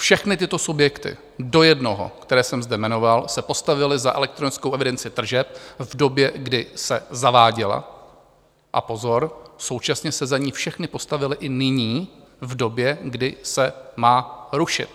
Všechny tyto subjekty do jednoho, které jsem zde jmenoval, se postavily za elektronickou evidenci tržeb v době, kdy se zaváděla - a pozor, současně se za ni všechny postavily i nyní, v době, kdy se má rušit.